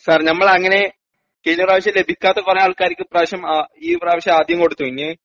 sir ഞമ്മലങ്ങനെ കയിഞ്ഞപ്രാവശ്യം ലഭിക്കാത്ത കൊറേ ആൾക്കാരിക്ക് ഇപ്രാവശ്യം ആ ഈ പ്രാവശ്യം ആദ്യം കൊടുത്തു ആ ഇനി